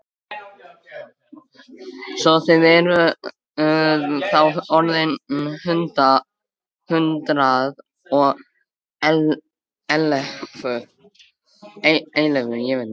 Svo að þið eruð þá orðin hundrað og ellefu!